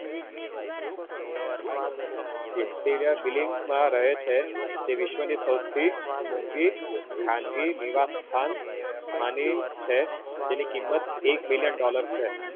antilia building માં રાયે છે જે વિશ્વ ની સવથી મોંઘી ખાનગી નિવાસ્થાન માની છે જેની કિંમત એક billion dollar છે